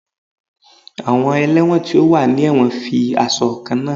Awọn ẹlẹwọn ti o wa ni ẹwọn fi aṣọ kanna.